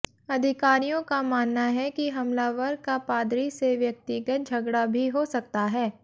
अधिकारियों का मानना है कि हमलावर का पादरी से व्यक्तिगत झगड़ा भी हो सकता है